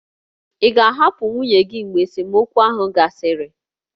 Ị ga-ahapụ nwunye gị mgbe esemokwu ahụ gasịrị?